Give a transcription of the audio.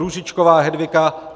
Růžičková Hedvika